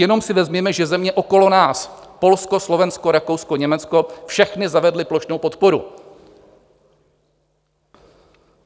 Jenom si vezměme, že země okolo nás, Polsko, Slovensko, Rakousko, Německo, všechny zavedly plošnou podporu.